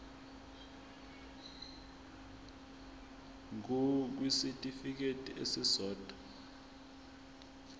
ngur kwisitifikedi esisodwa